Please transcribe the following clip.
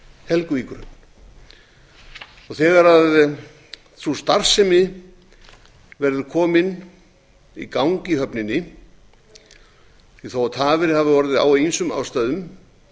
helguvíkurhöfn þegar sú starfsemi verður komin í gang í höfninni því þó tafir hafi orðið á af ýmsum ástæðum